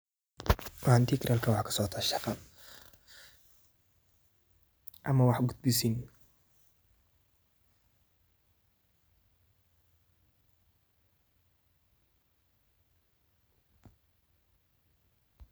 Halkan waxaa kasocotaa shaqa ama wax gudbisiin.